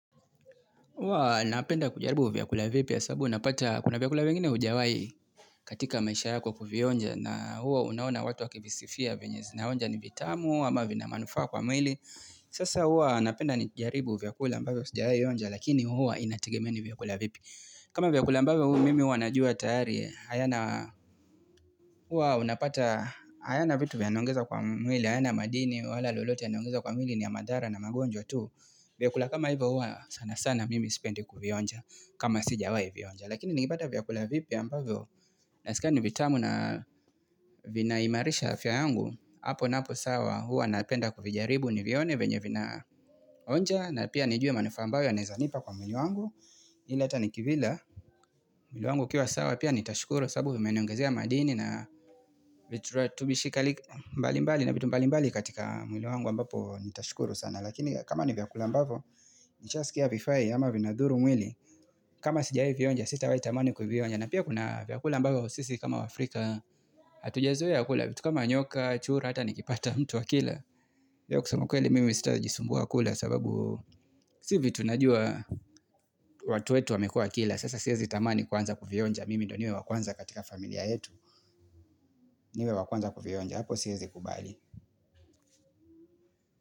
Huwa napenda kujaribu vyakula vipya sabubu unapata kuna vyakula vingine hujawai katika maisha yako kuvionja na huwa unaona watu wakivisifia venye zinaonja ni vitamu ama vina manufaa kwa mwili. Sasa huwa napenda nijaribu vyakula ambavyo sijawai onja lakini huwa inategema ni vyakula vipi. Kama vyakula ambavyo huwa mimi huwa najua tayari huwa unapata hayana vitu vyanongeza kwa mwili hayana madini wala lolote yanaongezwa kwa mwili ni madhara na magonjwa tu. Vyakula kama hivyo huwa sana sana mimi sipendi kuvionja kama sijawai vionja Lakini nikipata vyakula vipya ambavyo naskia vitamu na vina imarisha afya yangu hapo napo sawa huwa napenda kuvijaribu nivione venye vina onja na pia nijue manufaa ambayo yanawezanipa kwa mwili wangu ili hata Nikivila mwili wangu ukiwa sawa pia nitashukuru kwa sabubu vimeniongezea madini na vituratubishi mbali mbali na vitu mbali mbali katika mwili wangu ambapo nitashukuru sana lakini kama ni vyakula ambavyo, nisha sikia havifai ama vinadhuru mwili kama sijawai vionja sitawai tamani kuvionja na pia kuna vyakula ambavyo sisi kama waafrika hatujazoe kula vitu kama nyoka, chura, hata nikipata mtu akila leo kusama ukweli mimi sitajisumbua kula sababu sivitu najua watu wetu wamekuwa wakila sasa siwezi tamani kuanza kuvionja mimi ndo niwe wakwanza katika familia yetu niwe wakwanza kuvionja, hapo siwezi kubali.